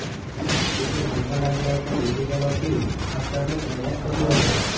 જેથી મનમાં લાગી આવતા ઝેરી દવા પી આપઘાતનો પ્રયાસ કર્યો હતો